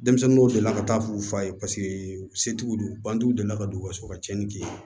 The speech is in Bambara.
Denmisɛnnin dɔw delila ka taa f'u fa ye paseke u se t'u don u bantigiw deli la ka don u ka so ka tiɲɛni kɛ